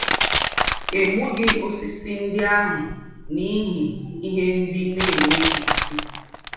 È gbúghí ósìsì ńdị́ àhụ̀ n’íhí íhe ńdị́ ná-ènwèghí ísì.